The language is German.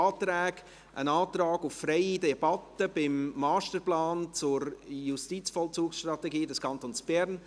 Es ist ein Antrag auf freie Debatte beim Masterplan zur Justizvollzugsstrategie des Kantons Bern.